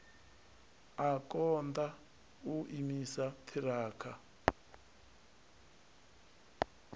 a konḓa u imisa ṱhirakha